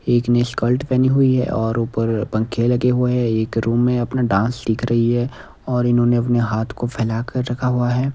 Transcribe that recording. एक ने स्कर्ट पहनी हुई है और ऊपर पंख लगे हुए हैं एक रूम में अपना डांस सीख रही है और इन्होंने अपने हाथ को फैला कर रखा हुआ है।